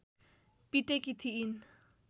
पिटेकी थिइन्